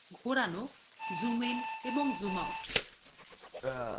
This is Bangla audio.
ঘোরানো zoom in এবং zoom out